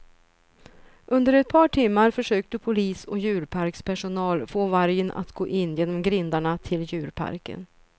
Under ett par timmar försökte polis och djurparkspersonal få vargen att gå in genom grindarna till djurparken.